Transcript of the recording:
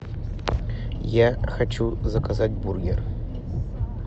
я хочу заказать бургер